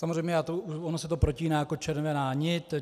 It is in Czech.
Samozřejmě ono se to protíná jako červená nit.